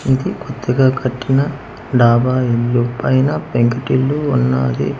ఇది కొత్తగా కట్టిన డాబా ఇల్లు పైన పెంకుటిల్లు ఉన్నాది అందరు--